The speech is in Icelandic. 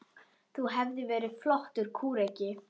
Þú hefðir verið flottur kúreki.